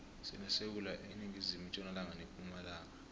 sinesewula iningizimu itjonalanga nepumalanga